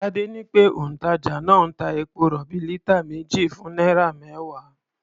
Tadé ní pé òǹtàjà náà ń ta epo-rọ̀bì lítà méjì fún náírà mẹ́wàá.